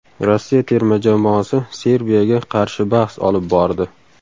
Rossiya terma jamoasi Serbiyaga qarshi bahs olib bordi.